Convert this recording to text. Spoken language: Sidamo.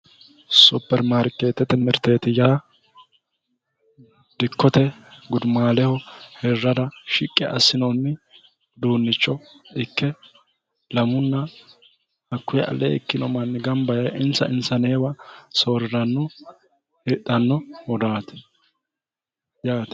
Superimarketete mirteeti yaa dikkote gudumaaleho hirrara shiqqi assinoonni uduunnicho ikke lamunna hakkuyi alee ikkino manni ganba yee insa insaneewa soorriranno hidhannohuraati yaate